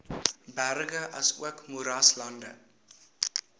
berge asook moeraslande